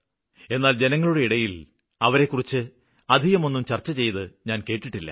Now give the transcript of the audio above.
എന്നാല് ജനങ്ങളുടെ ഇടയില് അവരെക്കുറിച്ച് അധികമൊന്നും ചര്ച്ച ചെയ്ത് ഞാന് കേട്ടിട്ടില്ല